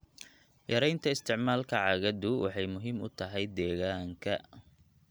Yaraynta isticmaalka caagadu waxay muhiim u tahay deegaanka.